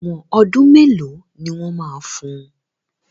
Ẹ̀wọ́n ọdún mélòó ni wọ́n máa fun?